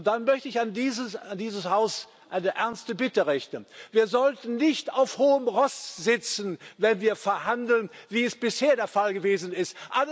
Dann möchte ich an dieses Haus eine ernste Bitte richten Wir sollten nicht auf hohem Ross sitzen, wenn wir verhandeln wie es bisher der Fall gewesen ist.